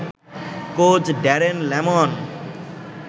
coach Darren layman